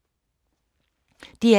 DR1